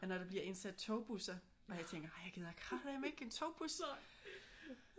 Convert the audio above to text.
Men når der bliver indsat togbusser og jeg tænker ej jeg gider kraftedeme ikke en togbus